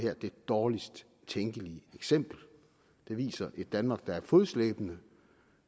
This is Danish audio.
dårligst tænkelige eksempel det viser et danmark der er fodslæbende